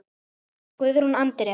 Guðrún Andrea,?